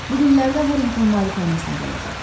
Bu günlərdə Harinqton malikanəsinə gələcək.